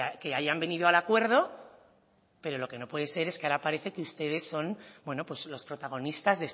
que hayan venido al acuerdo pero lo que no puede ser es que ahora parece que ustedes son bueno los protagonistas